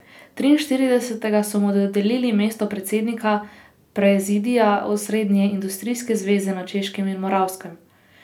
Triinštiridesetega so mu dodelili mesto predsednika prezidija Osrednje industrijske zveze na Češkem in Moravskem.